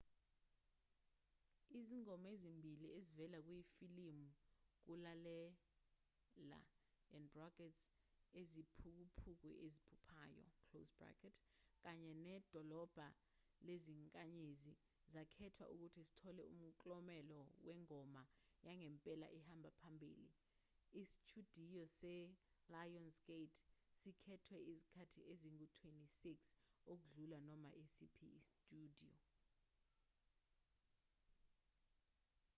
izingoma ezimbili ezivela kuyifilimu ukulalela iziphukuphuku eziphuphayo kanye nedolobha lezinkanyezi zakhethwa ukuthi zithole umklomelo wengoma yangempela ehamba phambili. isitshudiyo se-lionsgate sikhethwe izikhathi ezingu-26 — ukudlula noma esiphi isitshudiyo